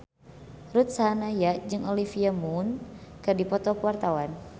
Ruth Sahanaya jeung Olivia Munn keur dipoto ku wartawan